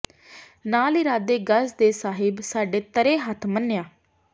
ਨਾਲ਼ ਇਰਾਦੇ ਗਜ਼ ਦੇ ਸਾਹਿਬ ਸਾਢੇ ਤਰੈ ਹੱਥ ਮੰਨਿਆ